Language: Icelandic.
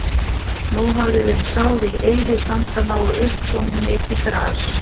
Nú hafði verið sáð í eyðisandana og upp komið mikið gras.